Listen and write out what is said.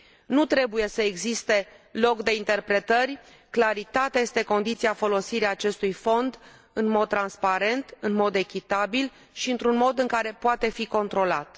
Nu trebuie să existe loc de interpretări, claritatea este condiția folosirii acestui fond în mod transparent, în mod echitabil și într un mod în care poate fi controlat.